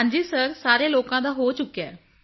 ਹਾਂਜੀ ਸਿਰ ਸਾਰੇ ਲੋਕਾਂ ਦਾ ਹੋ ਚੁੱਕਿਆ ਹੈ